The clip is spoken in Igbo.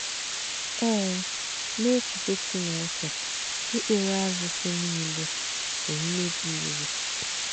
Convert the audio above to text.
Ee, n’èchíchè Chìnéke, ìkpèrè árùsì nílē bù m̀mèbì ìwù.